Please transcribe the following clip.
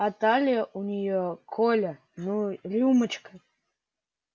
а талия у неё коля ну рюмочка